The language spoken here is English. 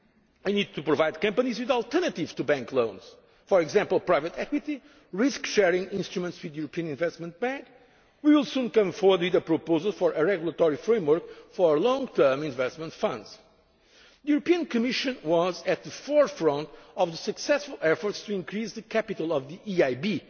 to finance. We need to provide companies with alternatives to bank loans for example, private equity, risk sharing instruments with the European Investment Bank. We will soon come forward with a proposal for a regulatory framework for long term investment funds. The Commission was at the forefront of the successful efforts to increase the capital